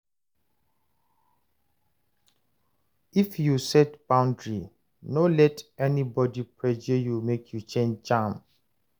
If you set boundary, no let anybody pressure you make you change am.